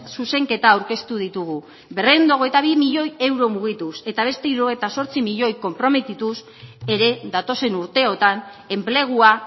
zuzenketa aurkeztu ditugu berrehun eta hogeita bi milioi euro mugituz eta beste hirurogeita zortzi milioi konprometituz ere datozen urteotan enplegua